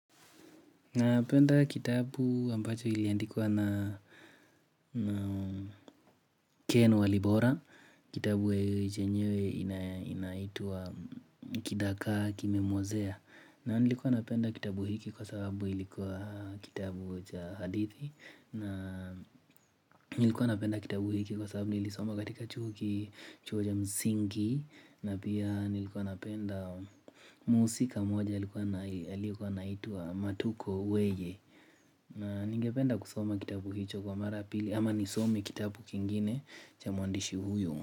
Napenda kitabu ambacho iliandikwa na Ken Walibora, kitabu ye chenyewe inaitwa Kidagaa Kimemwozea na nilikuwa napenda kitabu hiki kwa sababu ilikuwa kitabu cha hadithi na nilikuwa napenda kitabu hiki kwa sababu nilisoma katika chuo ki chuo cha msingi na pia nilikuwa napenda muhusika mmoja alikuwa anai aliyekuwa anaitwa Matuko Weye na ningependa kusoma kitabu hicho kwa mara ya pili ama nisome kitabu kingine cha mwandishi huyo.